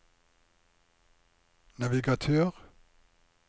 navigatør